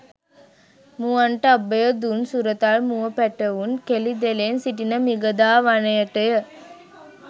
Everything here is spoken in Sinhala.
මුවන්ට අභය දුන් සුරතල් මුව පැටවුන් කෙළි දෙලෙන් සිටින මිගදා වනයටය.